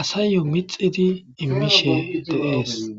asayyo mixidi immishe deees